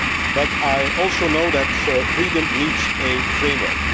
But I also know that freedom needs a framework.